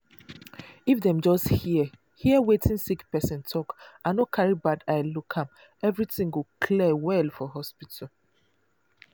if dem just hear hear wetin sick person talk and no carry bad eye look am everything go clear well for hospital.